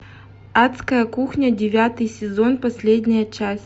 адская кухня девятый сезон последняя часть